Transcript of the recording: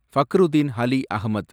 Fakhruddin Ali Ahmad